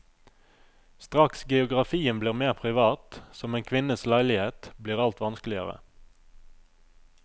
Straks geografien blir mer privat, som en kvinnes leilighet, blir alt vanskeligere.